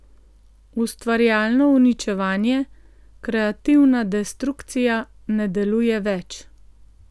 Ustvarjalno uničevanje, kreativna destrukcija, ne deluje več.